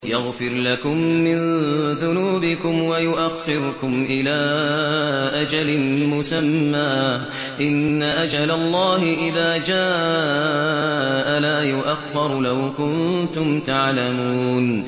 يَغْفِرْ لَكُم مِّن ذُنُوبِكُمْ وَيُؤَخِّرْكُمْ إِلَىٰ أَجَلٍ مُّسَمًّى ۚ إِنَّ أَجَلَ اللَّهِ إِذَا جَاءَ لَا يُؤَخَّرُ ۖ لَوْ كُنتُمْ تَعْلَمُونَ